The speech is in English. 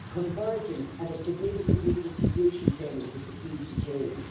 Convergence and a significant redistribution payment is the key to change.